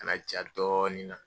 Ka na ja dɔɔni n na.